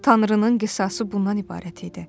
Tanrının qisası bundan ibarət idi.